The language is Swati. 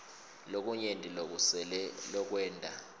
lokunyenti lokusele lokwenta